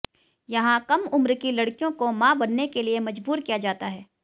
यहां कम उम्र की लड़कियों को मां बनने के लिए मजबूर किया जाता है